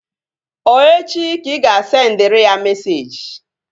Ọ echi ka ị ga-asendịrị ya meseji?